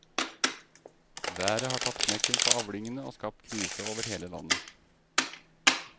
Været har tatt knekken på avlingene og skapt krise over hele landet.